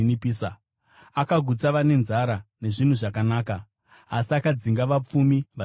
Akagutsa vane nzara nezvinhu zvakanaka, asi akadzinga vapfumi vasina chinhu.